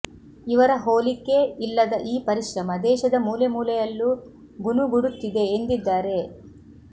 ಇವರ ಹೋಲಿಕೆ ಇಲ್ಲದ ಈ ಪರಿಶ್ರಮ ದೇಶದ ಮೂಲೆಮೂಲೆಯಲ್ಲೂ ಗುನುಗುಡುತ್ತಿದೆ ಎಂದಿದ್ದಾರೆ